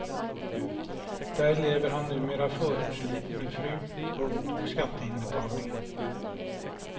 Där lever han numera förortsliv med fru, hund och skatteinbetalningar.